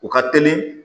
U ka teli